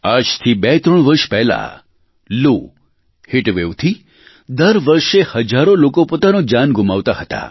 આજથી બેત્રણ વર્ષ પહેલા લૂ હીટવેવથી દર વર્ષે હજારો લોકો પોતાનો જાન ગુમાવતા હતા